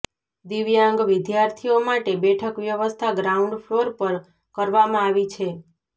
દિવ્યાંગ વિદ્યાર્થીઓ માટે બેઠક વ્યવસ્થા ગ્રાઉન્ડ ફ્લોર પર કરવામાં આવી છે